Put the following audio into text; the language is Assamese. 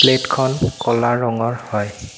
প্লেট খন ক'লা ৰঙৰ হয়।